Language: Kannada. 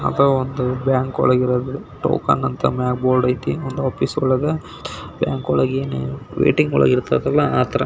ಅಥವಾ ಒಂದು ಬ್ಯಾಂಕು ಒಳಗೆ ಇರುವುದು ಟೋಕನ್ ಅಂತ ಒಂದು ಬೋರ್ಡ್ ಐತೆ. ಆಫೀಸ್ ಒಳಗೆ ಬ್ಯಾಂಕು ಒಳಗೆ ಏನ್ ವೈಟಿಂಗ್ ಒಳಗೆ ಇರ್ತತೇ ಅಲ್ಲ ಆ ಥರ --